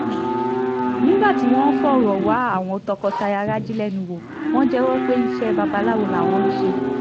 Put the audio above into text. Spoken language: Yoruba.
nígbà tí wọ́n ń fọ̀rọ̀ wá àwọn tọkọ-taya raji lẹ́nu wò wọ́n jẹ́wọ́ pé iṣẹ́ babaláwo làwọn ń ṣe